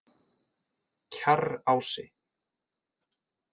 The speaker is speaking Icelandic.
Kjarrási